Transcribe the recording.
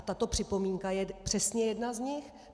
A tato připomínka je přesně jedna z nich.